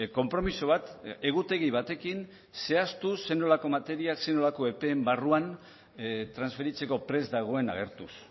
konpromiso bat egutegi batekin zehaztu zer nolako materia zer nolako epeen barruan transferitzeko prest dagoen agertuz